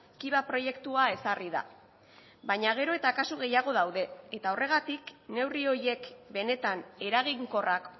kiva proiektua ezarri da baina gero eta kasu gehiago daude eta horregatik neurri horiek benetan eraginkorrak